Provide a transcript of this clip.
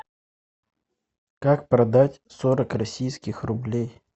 как продать сорок российских рублей